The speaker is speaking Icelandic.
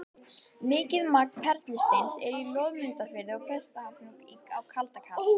Mikið magn perlusteins er í Loðmundarfirði og Prestahnúk á Kaldadal.